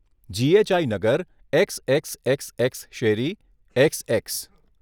GHI નગર, X X X X શેરી, X x.